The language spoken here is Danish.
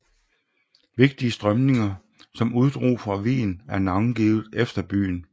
Vigtige strømninger som uddrog fra Wien er navngivet efter byen